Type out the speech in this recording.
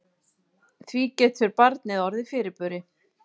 Því getur barnið orðið fyrirburi.